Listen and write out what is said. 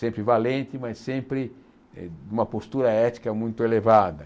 Sempre valente, mas sempre eh numa postura ética muito elevada.